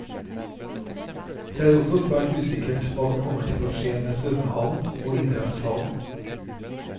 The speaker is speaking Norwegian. Det er også svært usikkert hva som kommer til å skje med svømmehallen og idrettshallen.